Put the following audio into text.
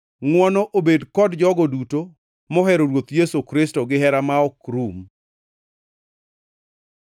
Ngʼwono obed kod jogo duto mohero Ruoth Yesu Kristo gihera ma ok rum.